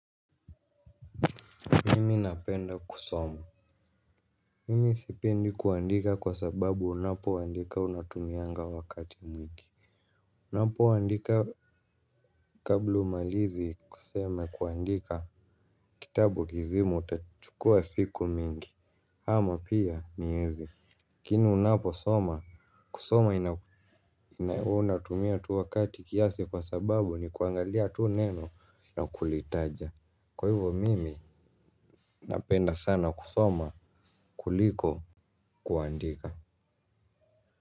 Mimi napenda kusoma. Mimi sipindi kuandika kwa sababu unapoandika unatumianga wakati mwingi. Unapoandika kabla umalize kusema kuandika kitabu kizima utachukua siku mingi. Ama pia miezi. Lakini unaposoma, kusoma ina huwa unatumia tu wakati kiasi kwa sababu ni kuangalia tu neno na kulitaja. Kwa hivo mimi napenda sana kusoma kuliko kuandika.